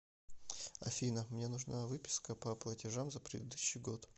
афина мне нужна выписка по платежам за предыдущий год